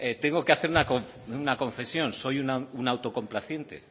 tengo que hacer una confesión soy un autocomplaciente